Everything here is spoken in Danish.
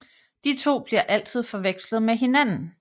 De to bliver altid forvekslet med hinanden